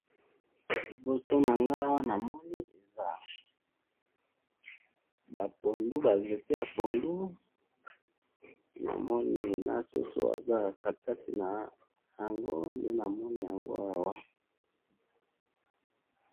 liboso na ngayi awa namoni eza ba pondu ba nzete ya pondu namoni na soso eza katikati na yango nde namoni yango awa.